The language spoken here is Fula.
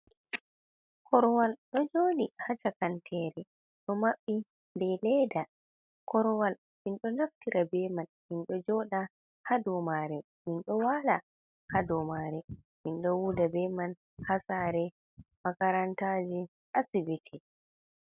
Korwal ɗo joli ha shakantere ɗo Mabbi be leda. Korwal minɗo Naftira be man minɗo joɗa ha dou mare. Minɗo wala ha dou mare, mindo huda be man ha Sare, Makarantajin, Asibiti.